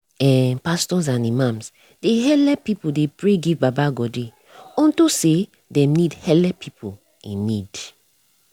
eh pastos and imams dey helep pipu dey pray give baba godey unto say dem need helep pipu in need